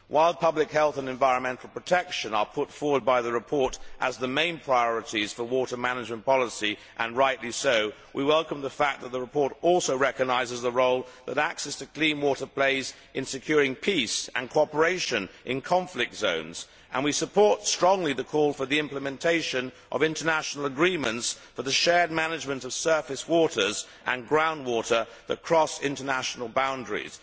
While public health and environmental protection are put forward by the report as the main priorities for water management policy, and rightly so, we welcome the fact that the report also recognises the role that access to clean water plays in securing peace and cooperation in conflict zones, and we support strongly the call for the implementation of international agreements for the shared management of surface waters and ground water that cross international boundaries.